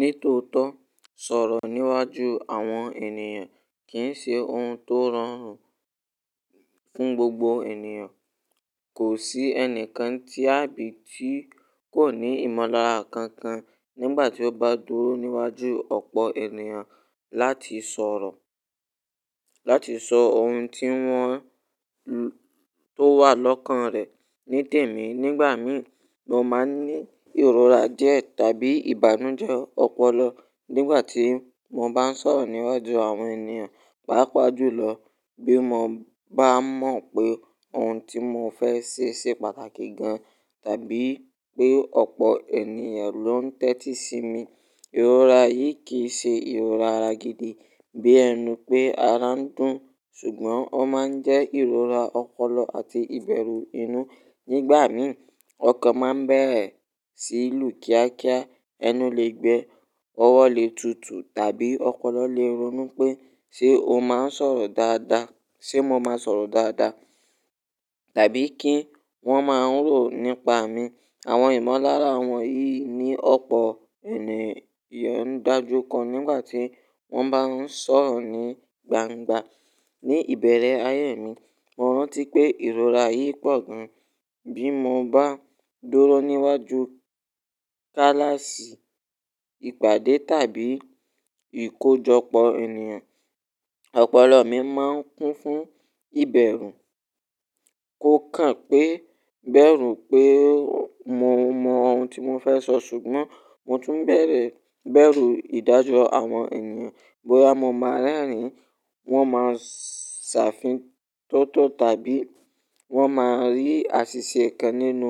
Ní tòótọ́, sọ̀rọ̀ níwájú àwọn ènìyàn kì í ṣe ohun tó rọrùn fún gbogbo ènìyàn. Kò sí ẹnìkan tí àbí tí kò ní ìmọ̀lára kan kan nígbà tí ó bá dúró níwájú ọ̀pọ̀ ènìyàn láti sọ̀rọ̀, láti sọ ohun tí wọ́n, tó wà lọ́kàn rẹ̀. Ní tèmi, nígbà mi, mo máa ń ní ìrora díẹ̀ tàbí ìbànújẹ́ ọpọlọ nígbà tí mo bá ń sọ̀rọ̀ níwájú àwọn ènìyàn. Páápàá jùlọ bí mo bá mọ̀ pé ohun tí mo fẹ́ ṣe ṣe pàtàkì gan tàbí pé ọ̀pọ̀ ènìyàn ló ń tẹ́tí sí mi. Ìrora yìí kì í ṣe ìrora ara gidi bí ẹnu pé ara ń dùn, ṣùgbọ́n ó máa ń jẹ́ ìrora ọpọlọ àti ìbẹ̀rù inú. Nígbà mi, ọkàn máa ń bẹ̀rẹ̀ sí lu kíákíá, ẹnu lè gbẹ, ọwọ́ lè tutù tàbí ọpọlọ lè ronú pé ṣe o máa ń sọ̀rọ̀ dáadáa? Ṣé mo máa ń sọ̀rọ̀ dáadáa? Tàbí kí wọ́n máa ń rò nípa mi. Àwọn ìmọ̀lára wọ̀nyí ni ọ̀pọ̀ ènìyàn ń do ju ko nígbà tí wọ́n bá ń sọ̀rọ̀ ní gbangba. Ní ìbẹ̀rẹ̀ ayé mi, mo rántí pé ìrora yìí pọ̀ gan bí mo bá dúró níwájú kíláàsì, ìpàdé tàbí ìkójọpọ̀ ènìyàn. Ọpọlọ mi máa ń kún fún ìbẹ̀rù. Kò kàn pé bẹ̀rù pé mo mọ ohun tí mo fẹ́ sọ ṣùgbọ́n mo tún bẹ̀rẹ̀, bẹ̀rù ìdájọ́ àwọn ènìyàn. Bóyá mo máa ń rẹ́rìn-ín, wọ́n máa ń ṣàfihàn tótó tàbí wọ́n máa rí àṣìṣe kan nínú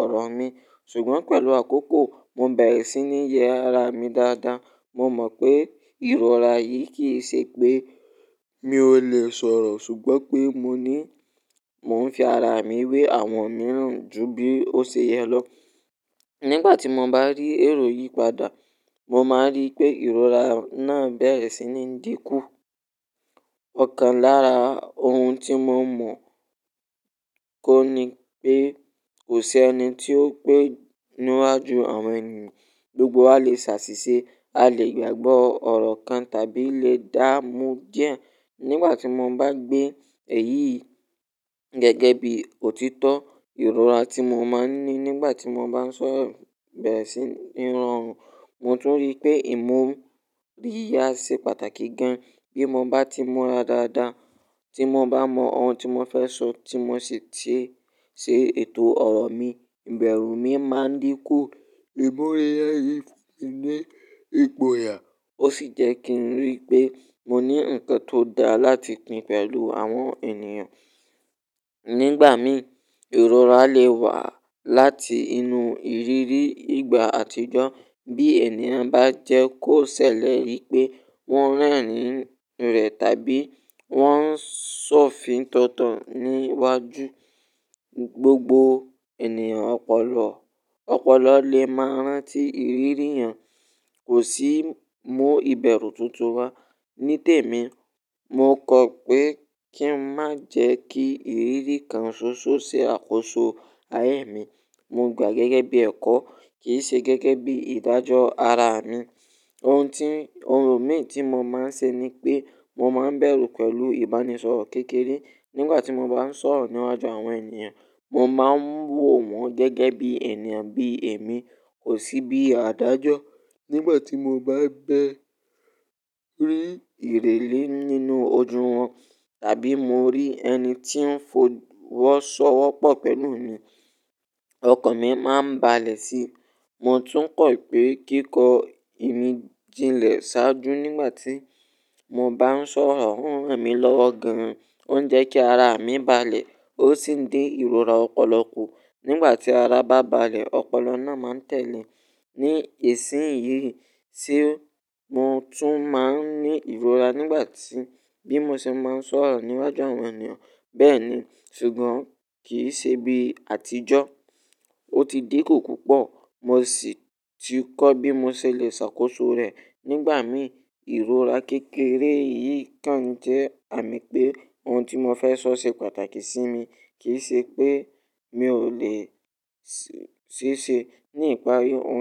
ọ̀rọ̀ mi. Ṣùgbọ́n pẹ̀lú àkókò, mo bẹ̀rẹ̀ sí ní yẹ ara mi dáadáa. Mo mọ̀ pé ìrora yìí kì í ṣe pé mi ò lè sọ̀rọ̀ ṣùgbọ́n pé mo ní, mo ń fi ara mi wé àwọn mìíràn ju bí ó ṣe yẹ lọ. Nígbà tí mo bá rí èrò yìí padà, mo máa rí pé ìrora náà bẹ̀rẹ̀ sí ní dínkù. Ọ̀kan lára ohun tí mo mọ̀ kó ni pé kò sí ẹni tí ó pé níwa jú àwọn ènìyàn. Gbogbo wa lè ṣàṣìṣe, a lè gbàgbọ́ ọ̀rọ̀ kan tàbí lè dá mú díẹ̀. Nígbà tí mo bá gbé èyí gẹ́gẹ́ bí òtítọ́, ìrora tí mo máa ń ní nígbà tí mo bá ń sọ̀rọ̀ bẹ̀rẹ̀ sí ní rọrùn. Mo tún rí pé ìmọ̀ríyá ṣe pàtàkì gan. Bí mo bá ti mura dáadáa, tí mo bá mọ ohun tí mo fẹ́ sọ tí mo sì ṣe, ṣe ètò ọ̀rọ̀ mi, ìbẹ̀rù mi máa ń dínkù. Ìmọ̀ríya yìí fun mi ní ìgboyà, ó sì jẹ́ kí n rí pé mo ní ǹkan tó da láti pín pẹ̀lú àwọn ènìyàn. Nígbà mi, ìrora lè wá láti inú ìrírí ìgbà àtijọ́ bí ènìyàn bá jẹ́ kó ṣèlérí pé wọ́n ń rẹ́rìn-ín rẹ̀ tàbí wọ́n ń ṣọ̀fìn tótọ̀ níwájú gbogbo ènìyàn. Ọpọlọ, ọpọlọ lè máa ń rántí ìrírí yẹn. Kò sí mú ìbẹ̀rù tuntun wá. Ní tèmi, mo kọ̀ pé kí n má jẹ́ kí ìrírí kan ṣoṣo ṣe àkóso ayé mi. Mo gbà gẹ́gẹ́ bí ẹ̀kọ́ kì í ṣe gẹ́gẹ́ bí ìdájọ́ ara mi. Ohun tí, ohun mì tí mo máa ń ṣe ni pé mo máa ń bẹ̀rù pẹ̀lú ìbánisọ̀rọ̀ kékeré. Nígbà tí mo bá ń sọ̀rọ̀ níwájú àwọn ènìyàn, mo máa ń wò wọ́n gẹ́gẹ́ bí ènìyàn bí èmi, kò sí bí àdájọ́. Nígbà tí mo bá bẹ̀rẹ̀ rí ìrèlè nínú ojú wọn tàbí mo rí ẹni tí ń fọwọ́sọ́wọ́pọ̀ pẹ̀lú mi, ọkàn mi máa ń balẹ̀ sí i. Mo tún kọ̀ pé kíkọ imi jinlẹ ṣáájú nígbà tí mo bá ń sọ̀rọ̀ o uń ràn mí lọ́wọ́ gan, ó ń jẹ́ kí ara mi balẹ̀, ó sì ń dín ìrora ọpọlọ kù. Nígbà tí ara bá balẹ̀, ọpọlọ náà máa ń tẹ̀lé. Ní ìsìn yìí tí mo tún máa ń ní ìrora nígbà tí, bí mo ṣe máa ń sọ̀rọ̀ níwájú àwọn ènìyàn bẹ́ẹ̀ ni ṣùgbọ́n kì í ṣe bí àtijọ́. Ó ti dínkù púpọ̀. Mo sì ti kọ́ bí mo ṣe lè ṣàkóso rẹ̀. Nígbà mi, ìrora kékeré yìí kàn jẹ́ àmì pé ohun tí mo fẹ́ sọ ṣe pàtàkì sí mi, kì í ṣe pé mi ò lè ṣe é ṣe. Ní ìparí, ohun.